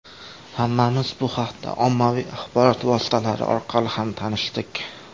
Hammamiz bu haqda ommaviy axborot vositalari orqali ham tanishdik.